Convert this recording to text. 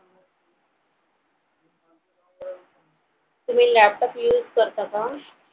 तुम्ही laptop use करता का?